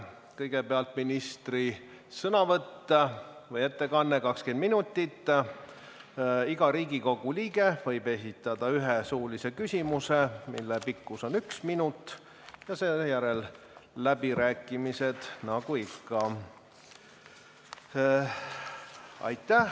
Kõigepealt ministri ettekanne 20 minutit, iga Riigikogu liige võib esitada ühe suulise küsimuse, mille pikkus on üks minut, ja selle järel on läbirääkimised nagu ikka.